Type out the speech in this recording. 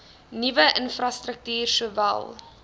nuwe infrastruktuur sowel